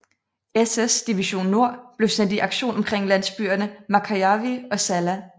SS division Nord blev sendt i aktion omkring landsbyerne Märkäjärvi og Salla